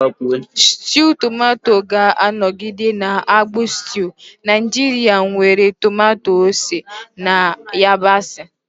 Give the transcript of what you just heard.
Stew Tomato ga-anọgide na-abụ stew Naijiria nwere tomato, ose, na yabasị.